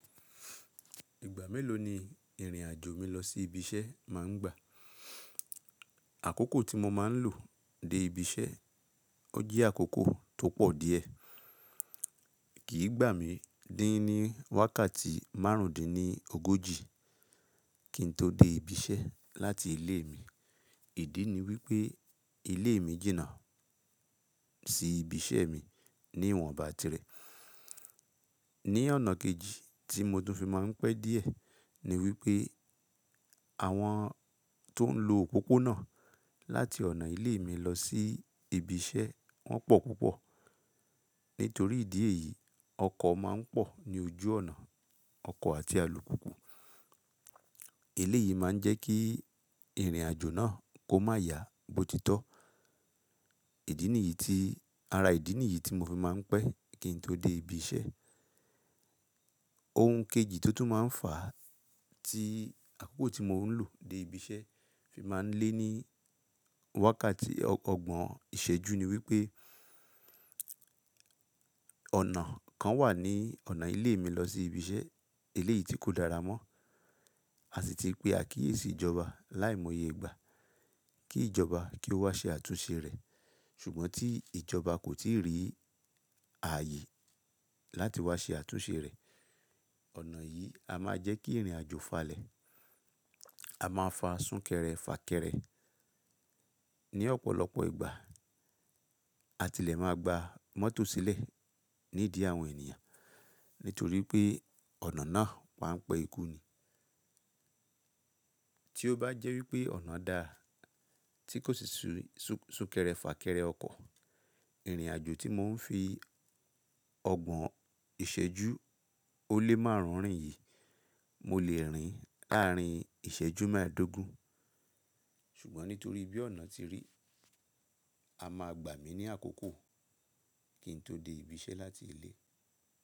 Ìgbà mélòó ni ìrìnàjò mi lọ sí ibi iṣẹ́ má ń gbà. Àkókò tí mo máa ń lò dé ibi iṣẹ́, ó jẹ́ àkókò tó pọ̀ díẹ̀. Kì í gbà mí díín ní wákàtí márùndínlógójì kí n tó dé ibi iṣẹ́ láti ilé mi. Ìdí ni wípé ilé mi jìnnà sí ibi iṣẹ́ mi ní ìwọ̀n bátìrẹ́. Ni ọ̀nà kejì tí mo tún fi máa ń pẹ́ díẹ̀ ni wípé àwọn tó ń lo òpópónà láti ọ̀nà ilé mi lọ sí ibi iṣẹ́ wọn pọ̀ púpọ̀. Nítorí ìdí èyí, ọkọ̀ máa ń pọ̀ ní ojú ọ̀nà, ọkọ̀ àti alùpùpù. Elé yìí má ń jẹ́ kí ìrìnàjò náà kó má ya bó titọ́. Ìdí nìyí tí, ara ìdí nìyí tí mo fi máa ń pẹ́ kí n tó dé ibi iṣẹ́. Ohun kejì tó tún máa ń fà á tí àkókò tí mò ń lò dé ibi iṣẹ́ fi máa ń lé ní wákàtí ọgbọ̀n ìṣẹ́jú ni wípé ọ̀nà kan wà ní ọ̀nà ilé mi lọ sí ibi iṣẹ́, elé yìí tí kò dára mọ́. A sì ti pe àkíyèsí ìjọba láìmọye ìgbà kí ìjọba kí ó wá ṣe àtúnṣe rẹ̀. Ṣùgbọ́n tí ìjọba kò tíì rí ààyè láti wá ṣe àtúnṣe rẹ̀, ọ̀nà yìí a máa jẹ́ kí ìrìnàjò falẹ̀. A máa fa súnkẹrẹ fà kẹrẹ ní ọ̀pọ̀lọpọ̀ ìgbà. A tilẹ̀ máa gba mọ́tò sílẹ̀ nídi àwọn ènìyàn nítorí pé ọ̀nà náà wà ń pẹ́ ikú ni. Tí ó bá jẹ́ wípé ọ̀nà dá, tí kò sì súkẹrẹ fà kẹrẹ ọkọ̀, ìrìnàjò tí mò ń fi ọgbọ̀n ìṣẹ́jú ó lé márùn-ún rìn yìí, mo lè rìn láàrín ìṣẹ́jú mẹ́ẹ̀dógún. Ṣùgbọ́n nítorí bí ọ̀nà tí rí, a máa gbà mí ní àkókò kí n tó dé ibi iṣẹ́ láti ilé.